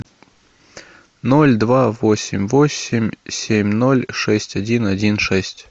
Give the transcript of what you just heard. ноль два восемь восемь семь ноль шесть один один шесть